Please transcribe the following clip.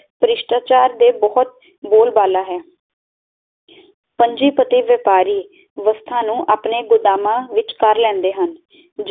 ਪ੍ਰਿਸਥਾਚਾਰ ਦੇ ਬਹੁਤ ਬੋਲ ਬਾਲਾ ਹੈ ਪੰਜੀ ਪਤੀ ਵਪਾਰੀ ਵਸਥਾ ਨੂੰ ਆਪਣੇ ਗੋਦਾਮਾਂ ਵਿੱਚ ਕਰ ਲੈਂਦੇ ਹਨ